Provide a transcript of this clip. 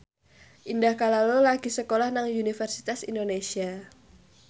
Indah Kalalo lagi sekolah nang Universitas Indonesia